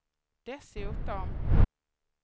dessutom